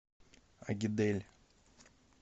агидель